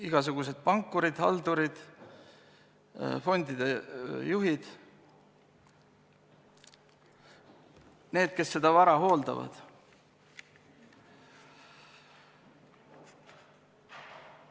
Igasugused pankurid, haldurid, fondide juhid – need, kes seda vara hooldavad.